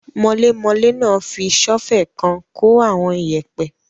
Mọlémọlé náà fi sọ́ọ́fẹ̀ kan kó àwọn iyẹ̀pẹ́